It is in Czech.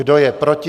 Kdo je proti?